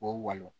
O ye walon